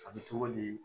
A bɛ cogo di